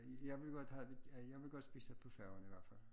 Jeg vil godt have at jeg vil godt spise på færgen i hvert fald